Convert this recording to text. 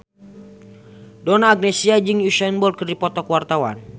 Donna Agnesia jeung Usain Bolt keur dipoto ku wartawan